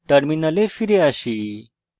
terminal ফিরে আসি